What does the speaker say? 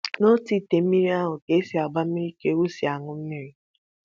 N'otu ite mmiri ahụ e si agba mmiri ka ewu si aṅụ mmiri